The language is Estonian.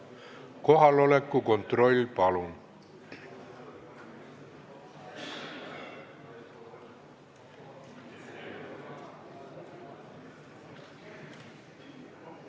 Kohaloleku kontroll, palun!